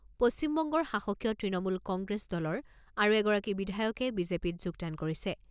পশ্চিম বংগৰ শাসকীয় তৃণমূল কংগ্ৰেছ দলৰ আৰু এগৰাকী বিধায়কে বিজেপিত যোগদান কৰিছে।